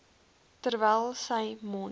terwyl sy mond